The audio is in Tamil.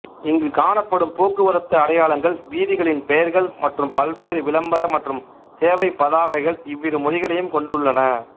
இங்கு காணப்படும் போக்குவரத்து அடையாளங்கள் வீதிகளின் பெயர்கள் மற்றும் பல்வேறு விளம்பர மற்றும் சேவைப் பதாகைகள் இவ்விரு மொழிகளையும் கொண்டுள்ளன